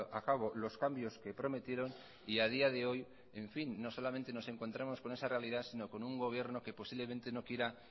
a cabo los cambios que prometieron y a día de hoy no solamente nos encontramos con esa realidad si no con un gobierno que posiblemente no quiera